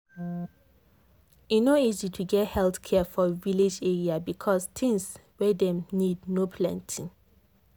e no easy to get health care for village area because things wey dem need no plenty.